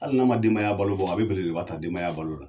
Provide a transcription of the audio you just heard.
Hali n'an ma denbaya balo bɔ ,a bɛ belebele ba taa denbaya balo la.